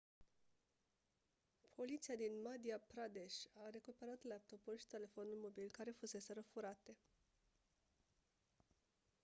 poliția din madhya pradesh a recuperat laptopul și telefonul mobil care fuseseră furate